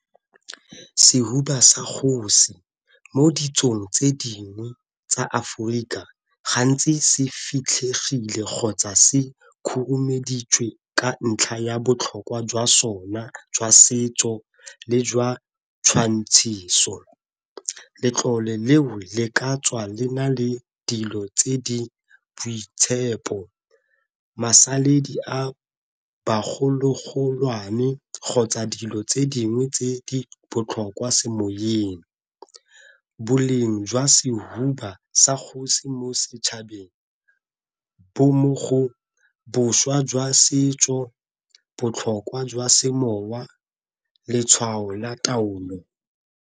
Sehuba sa kgosi mo ditsong tse dingwe tsa Aforika gantsi se fitlhegile kgotsa se khurumeditswe ka ntlha ya botlhokwa jwa sona jwa setso le jwa tshwantshiso. Letlole leo le ka tswa le na le dilo tse di boitshepo, masaledi a bagologolwane kgotsa dilo tse dingwe tse di botlhokwa semoyeng. Boleng jwa sehuba sa kgosi mo setšhabeng bo mo go boswa jwa setso, botlhokwa jwa semowa, letshwao la taolo.